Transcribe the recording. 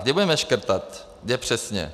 Kde budeme škrtat, kde přesně?